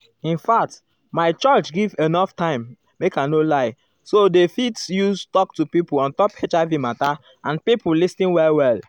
infact um my church um give enough time make i no lie so dey go use talk to pipo ontop hiv mata and pipo lis ten well well.